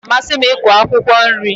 Ọ na-amasị m iku akwụkwọ nri.